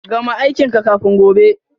Gama aikin ka kafin gobe.